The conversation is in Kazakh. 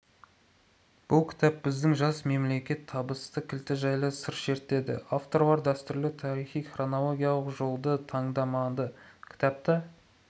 бұл кітап біздің жас мемлекеттің табыс кілті жайлы сыр шертеді авторлар дәстүрлі тарихи-хронологиялық жолды таңдамады кітапта